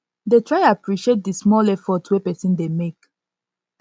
try dey appreciate di small effort wey pesin dey mek